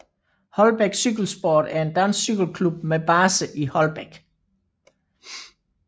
Holbæk Cykelsport er en dansk cykelklub med base i Holbæk